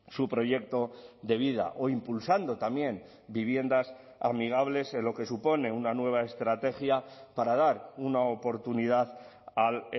su proyecto de vida o impulsando también viviendas amigables en lo que supone una nueva estrategia para dar una oportunidad al